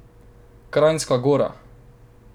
Kranjska Gora.